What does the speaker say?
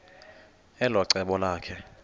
elo cebo lakhe